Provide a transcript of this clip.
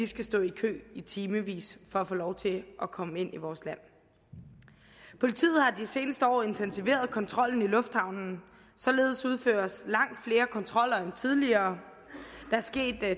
skal stå i kø i timevis for at få lov til at komme ind i vores land politiet har de seneste år intensiveret kontrollen i lufthavnen således udføres langt flere kontroller end tidligere